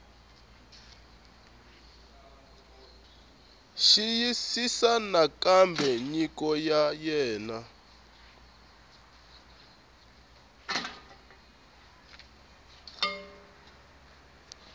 xiyisisisa nakambe nyiko ya wena